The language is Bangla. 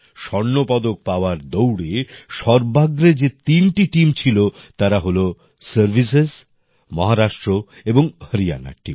স্বর্ণপদক পাওয়ার দৌড়ে সর্বাগ্রে যে তিনটি টিম ছিল তারা হলো সার্ভিসেস মহারাষ্ট্র এবং হরিয়ানার টিম